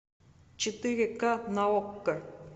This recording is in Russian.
четыре ка на окко